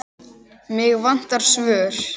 Mig vantar svör.